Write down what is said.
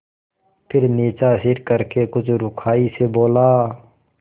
फिर नीचा सिर करके कुछ रूखाई से बोला